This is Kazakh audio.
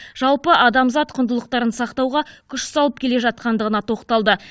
жалпы адамзат құндылықтарын сақтауға күш салып келе жатқандығына тоқталды